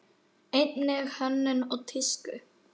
Einnig hönnun og tísku.